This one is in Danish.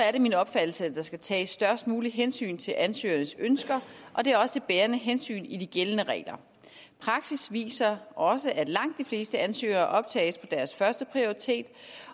er det min opfattelse at der skal tages størst muligt hensyn til ansøgernes ønsker og det er også det bærende hensyn i de gældende regler praksis viser også at langt de fleste ansøgere optages på deres førsteprioritet